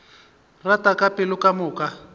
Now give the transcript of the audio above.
rata ka pelo ka moka